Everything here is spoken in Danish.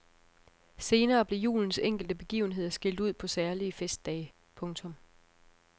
Senere blev julens enkelte begivenheder skilt ud på særlige festdage. punktum